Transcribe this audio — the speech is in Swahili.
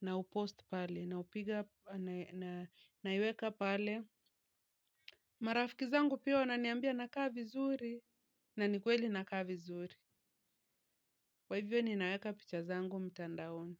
na upost pale, na upige na naiweka pale. Marafiki zangu pia wana niambia na kaa vizuri, na nikweli na kaa vizuri. kWa hivyo ninaweka picha zangu mtandaoni.